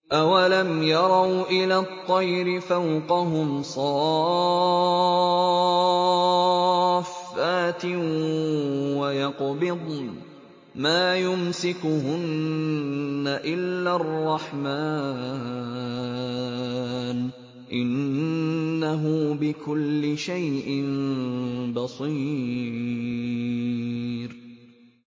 أَوَلَمْ يَرَوْا إِلَى الطَّيْرِ فَوْقَهُمْ صَافَّاتٍ وَيَقْبِضْنَ ۚ مَا يُمْسِكُهُنَّ إِلَّا الرَّحْمَٰنُ ۚ إِنَّهُ بِكُلِّ شَيْءٍ بَصِيرٌ